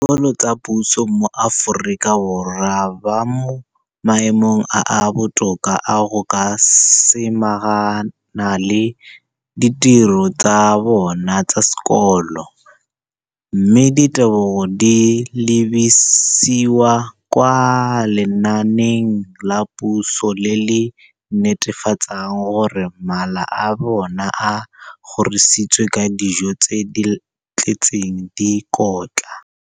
dikolo tsa puso mo Aforika Borwa ba mo maemong a a botoka a go ka samagana le ditiro tsa bona tsa sekolo, mme ditebogo di lebisiwa kwa lenaaneng la puso le le netefatsang gore mala a bona a kgorisitswe ka dijo tse di tletseng dikotla.